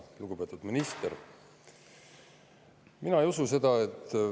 Lugupeetud minister!